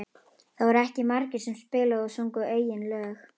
Það voru ekki margir sem spiluðu og sungu eigin lög.